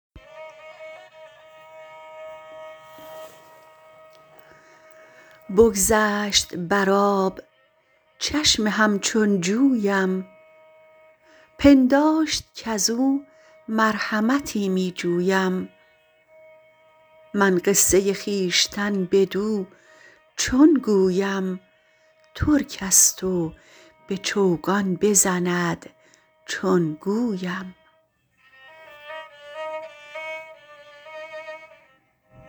بگذشت بر آب چشم همچون جویم پنداشت کزو مرحمتی می جویم من قصه خویشتن بدو چون گویم ترکست و به چوگان بزند چون گویم